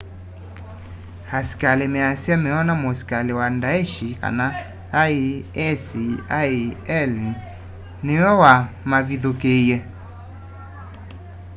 askali measya meona musikali wa daesh isil niwe wa mavithukiie